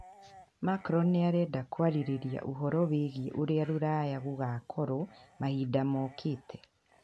Macron nĩ arenda kwarĩrĩria ũhoro wĩgiĩ ũrĩa rũraya gũgakorwo mahinda mokĩte.